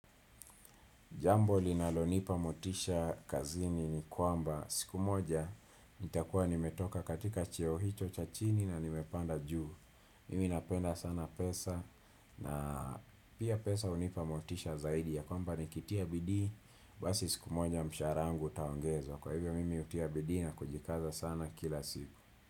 Jambo linalonipa motisha kazini ni kwamba siku moja nitakuwa nimetoka katika cheo hicho cha chini na nimepanda juu. Mimi napenda sana pesa na pia pesa hunipa motisha zaidi ya kwamba nikitia bidii. Basi siku moja mshahara wangu utaongezwa. Kwa hivyo mimi hutia bidii na kujikaza sana kila siku.